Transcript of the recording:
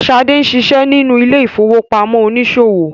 Sade ṣiṣẹ nínú ile-ifowopamọ oniṣòwo.